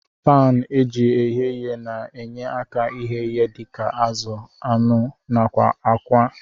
Pan eji eghe ihe na enye aka ighe ihe dika azu, anụ nakwa akwa.